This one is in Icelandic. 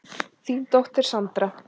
Þín dóttir, Sandra.